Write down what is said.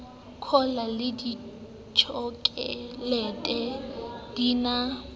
cola le ditjhokolete di na